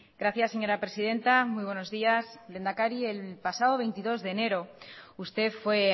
gracias señora presidenta muy buenos días lehendakari el pasado veintidós de enero usted fue